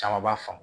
Caman b'a faamu